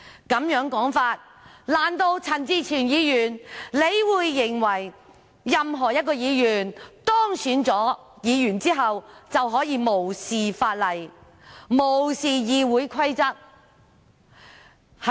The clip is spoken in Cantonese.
按這種說法，難道陳志全議員認為任何一位議員當選後，便可以無視法例、無視議會規則？